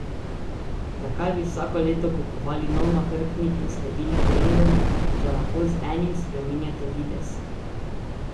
Zakaj bi vsako leto kupovali nov nahrbtnik in sledili trendom, če lahko z enim spreminjate videz?